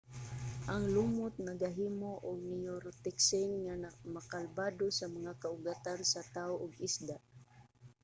ang lumot nagahimo og neurotoxin nga makabaldado sa mga kaugatan sa tao ug isda